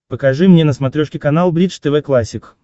покажи мне на смотрешке канал бридж тв классик